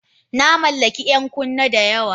Na mallaki 'yan kunne da yawa.